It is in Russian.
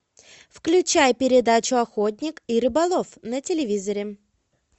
включай передачу охотник и рыболов на телевизоре